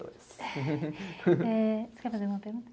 Você quer fazer uma pergunta?